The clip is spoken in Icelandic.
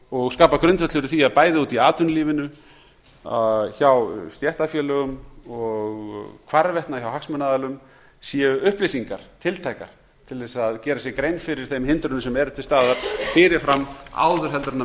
og skapa grundvöll fyrir því að bæði úti í atvinnulífinu hjá stéttarfélögum og hvarvetna hjá hagsmunaaðilum séu upplýsingar tiltækar til þess að gera sér grein fyrir þeim hindrunum sem eru til staðar fyrir fram áður heldur en